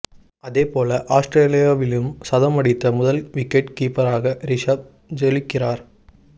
அதேபோல ஆஸ்திரேலியாவிலும் சதம் அடித்த முதல் விக்கெட் கீப்பராக ரிஷப் ஜொலிக்கிறார்